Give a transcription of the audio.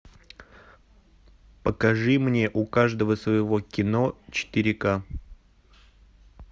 покажи мне у каждого своего кино четыре к